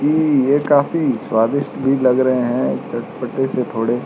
ये काफी स्वादिष्ट भी लग रहें हैं चटपटे से थोड़े।